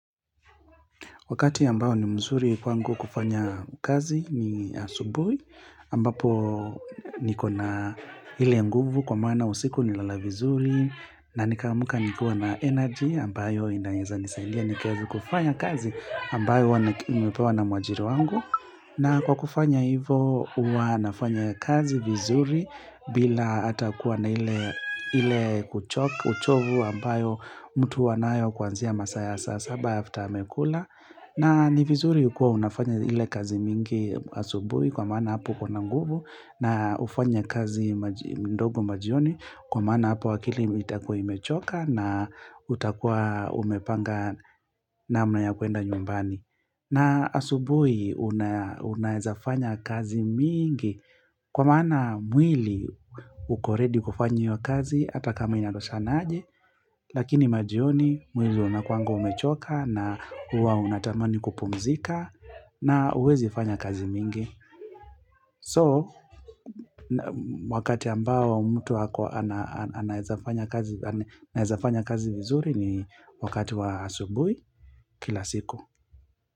Wakati ambayo ni mzuri kwa ngu kufanya kazi ni asubui, ambapo nikona hile nguvu kwa mana usiku ni lalavizuri. Na nikamuka nikua na energy ambayo inaeza nisaidia nikzu kufanya kazi ambayo wana umepewa na mwajiru wangu. Na kwa kufanya hivo, uanafanya kazi vizuri bila atakuwa na ile uchovu ambayo mtu wanayo kuanzia masaya saa sabayafuta amekula. Na ni vizuri ukua unafanya ile kazi mingi asubui kwa mana hapo kuna nguvu na ufanya kazi mdogo majioni kwa mana hapo wakili itakui mechoka na utakuwa umepanga na mnayakuenda nyumbani. Na asubui unaezafanya kazi mingi kwa mana mwili ukoredi kufanya iyo kazi atakama inatoshana aji. Lakini majioni mwili unakuangoa umechoka na uwa unatamani kupumzika na uwezi fanya kazi mingi So wakati ambao mtu wako anezafanya kazi vizuri ni wakati wa asubui kila siku.